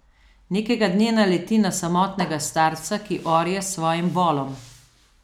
Nekega dne naleti na samotnega starca, ki orje s svojim volom.